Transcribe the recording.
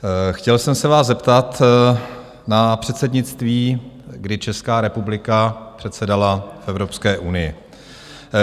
Chtěl jsem se vás zeptat na předsednictví, kdy Česká republika předsedala v Evropské unii.